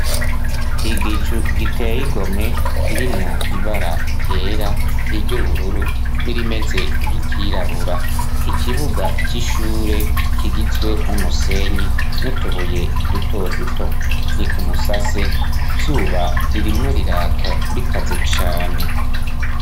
Igicu giteye igomwe kirimwo ibara ryera, iry'ubururu n'irimeze nk'iryirabura. Ikibuga c'ishure kigizwe n'umusenyi nutubuye duto duto. Ni ku musase izuba ririmwo riraka rikaze cane.